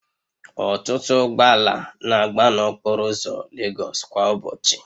Ọtụtụ ụgbọ ala na-agba n'okporo ụzọ Legosu kwa ụbọchị